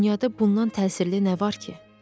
Dünyada bundan təsirli nə var ki?